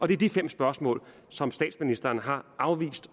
det er de fem spørgsmål som statsministeren har afvist